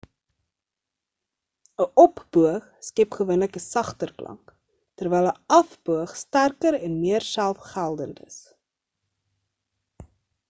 'n op-boog skep gewoonlik 'n sagter klank terwyl 'n af-boog sterker en meer selfgeldend is